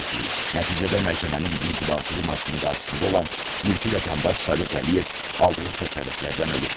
Nəticədə məhkəmənin inzibati binasının qarşısında olan mülki vətəndaş Sovet Əliyev aldığı xəsarətlərdən ölüb.